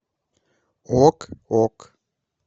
ок ок